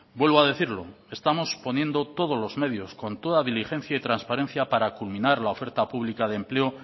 vuelvo a decirlo estamos poniendo todos los medios con toda diligencia y transparencia para culminar la oferta pública de empleo